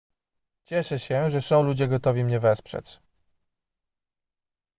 cieszę się że są ludzie gotowi mnie wesprzeć